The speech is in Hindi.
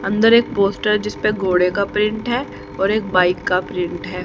अंदर एक पोस्टर है जिसपे घोड़े का प्रिंट है और एक बाइक का प्रिंट है।